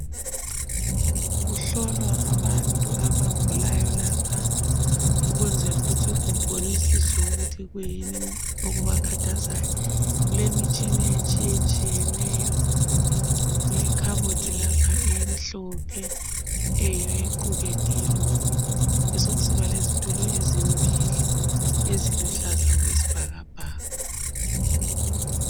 Kuhlolwa abantu abagulayo lapha, ukwenzela ukuthi kubonisiswe ukuthi kuyini okubakhathazayo. Kulemitshina etshiyetshiyeneyo. Kulekhabothi lapha emhlophe eyiyo equkethe lokhu, besekusiba lezitulo ezimbili eziluhlaza okwesibhakabhaka.